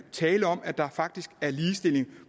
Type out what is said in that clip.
tale om at der faktisk er ligestilling